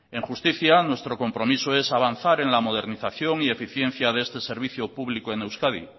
en justicia nuestro compromiso es avanzar en la modernización y eficiencia de este servicio público en euskadi